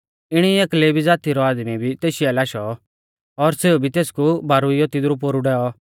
इणी एक लेवी ज़ाती रौ आदमी भी तेशी आलै आशौ और सेऊ भी तेसकु बारुइयौ तिदरु पोरु डैऔ